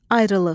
Ayrılıq.